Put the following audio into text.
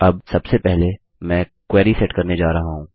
अब सबसे पहले मैं क्वेरी सेट करने जा रहा हूँ